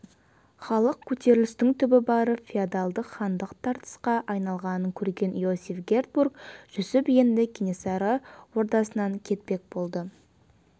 халық көтерілісінің түбі барып феодалдық хандық тартысқа айналғанын көрген иосиф гербурт-жүсіп енді кенесары ордасынан кетпек болды